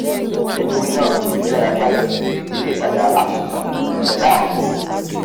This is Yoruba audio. nítorínáà mo yára sáré lọ sí iléìtajà apple kan tí nbẹ láàrin ìlú